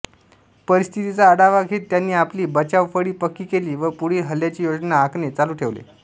परिस्थितीचा आढावा घेत त्यांनी आपली बचावफळी पक्की केली व पुढील हल्ल्यांची योजना आखणे चालू ठेवले